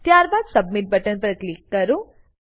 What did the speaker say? ત્યારબાદ submit button પર click કરો